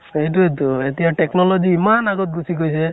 সেইতোয়েটো এতিয়া technology ইমান আগত গুছি গৈছে